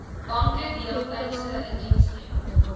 banke deeltydse indiensneming